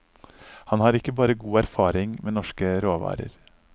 Han har ikke bare god erfaring med norske råvarer.